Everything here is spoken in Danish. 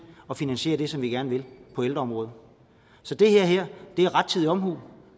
at finansiere det som vi gerne vil på ældreområdet så det her er rettidig omhu